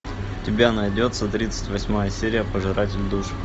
у тебя найдется тридцать восьмая серия пожиратель душ